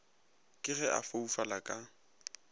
ke ge a foufala ka